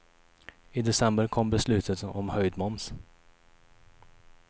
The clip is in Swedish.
I december kom beslutet om höjd moms.